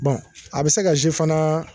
a bi se ka fana